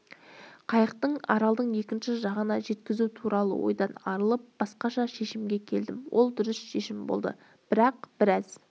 қайықты аралдың екінші жағына жеткізу туралы ойдан арылып басқаша шешімге келдім ол дұрыс шешім болды бірақ біраз